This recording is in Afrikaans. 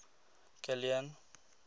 kilian